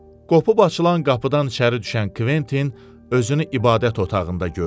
Qopub açılan qapıdan içəri düşən Kventin özünü ibadət otağında gördü.